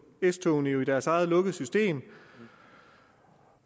s togene jo i deres eget lukkede system